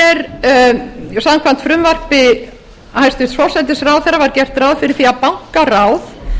en þar er samkvæmt frumvarpi hæstvirts forsætisráðherra var gert ráð fyrir því að bankaráð